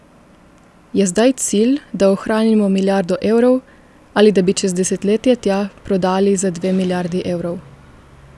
Je zdaj cilj, da ohranimo milijardo evrov ali da bi čez desetletje tja prodali za dve milijardi evrov?